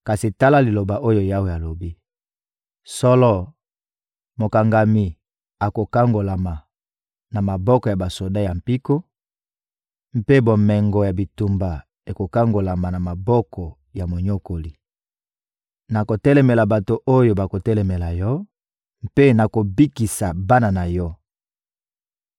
Kasi tala liloba oyo Yawe alobi: «Solo, mokangami akokangolama na maboko ya basoda ya mpiko, mpe bomengo ya bitumba ekokangolama na maboko ya monyokoli. Nakotelemela bato oyo bakotelemela yo, mpe nakobikisa bana na yo.